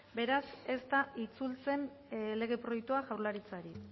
beraz ez da itzultzen lege proiektua jaurlaritzari